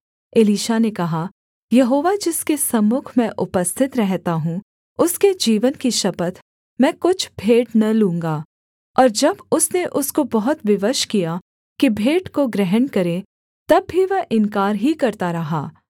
Elisha ने कहा Jehovah जिसके सम्मुख मैं उपस्थित रहता हूँ उसके जीवन की शपथ मैं कुछ भेंट न लूँगा और जब उसने उसको बहुत विवश किया कि भेंट को ग्रहण करे तब भी वह इन्कार ही करता रहा